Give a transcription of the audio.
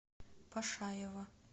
пашаева